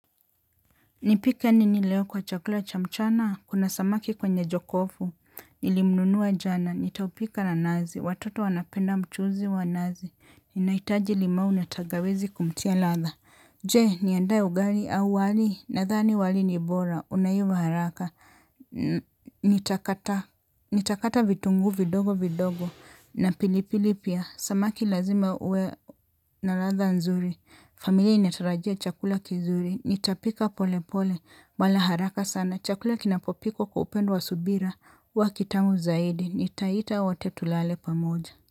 Nipike nini leo kwa chakula cha mchana, kuna samaki kwenye jokofu, nilimnunua jana, nitaupika na nazi, watoto wanapenda mchuzi wa nazi, ninahitaji limau na tangawizi kumtia latha. Je, niandae ugali au wali nathani wali ni bora. Unaiva haraka. Nitakata vitunguu vidogo vidogo na pili pili pia. Samaki lazima uwe na latha nzuri. Familia inatarajia chakula kizuri. Nitapika pole pole. Wala haraka sana. Chakula kinapopikwa kwa upendo wa subira huwa kitamu zaidi. Nitaita wote tulale pamoja.